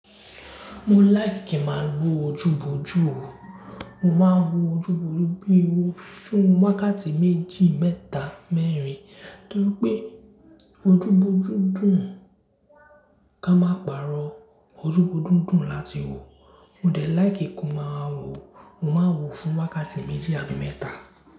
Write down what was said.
Mo like kí màá wo ojúbọjú o, mo máa ń wo ojúbọjú bíi owó fún wákàtí méjì, mẹ́ta, mẹ́rin. Torí pé ojúbọjú dùn ká máa pàrọ̀ ojúbọjú dùn láti wò. Mo dẹ̀ like kó máa wò o, mo máa ń wò fún wákàtí méjì àbí mẹ́ta.